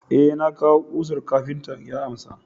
eh na kawo kusar kafinta ya amsa